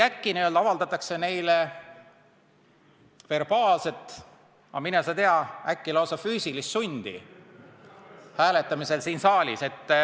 Äkki avaldatakse neile hääletamisel verbaalset või, mine sa tea, lausa füüsilist sundi.